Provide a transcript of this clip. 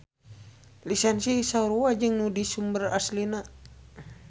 Lisensi sarua jeung nu di sumber aslina.